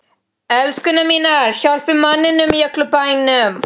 ELSKURNAR MÍNAR, HJÁLPIÐ MANNINUM Í ÖLLUM BÆNUM!